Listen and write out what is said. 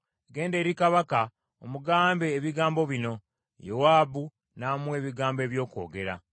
Genda eri kabaka, omugambe ebigambo bino.” Yowaabu n’amuwa ebigambo eby’okwogera.